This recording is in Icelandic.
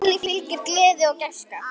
Páli fylgir gleði og gæska.